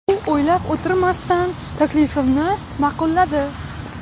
U o‘ylab o‘tirmasdan taklifimni ma’qulladi.